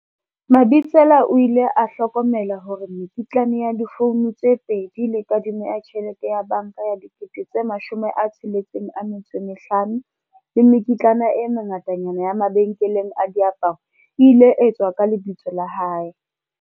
Mabitsela o ile a hlokomela hore mekitlane ya difouno tse pedi le kadimo ya tjhelete ya banka ya R65 000 le mekitlane e mengatanyana ya mabenkeleng a diaparo e ile etswa ka lebitso la hae.